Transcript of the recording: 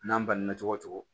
N'an banana cogo o cogo